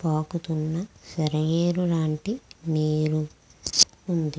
పాకుతున్న సెలయారు లాంటి నీరు వుంది.